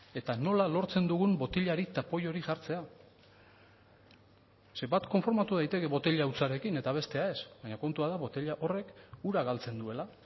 eta nola lortzen dugun botilari tapoi hori jartzea zeren bat konformatu daiteke botila hutsarekin eta bestea ez baina kontua da botila horrek ura galtzen duela